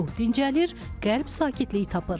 Ruh dincəlir, qəlb sakitlik tapır.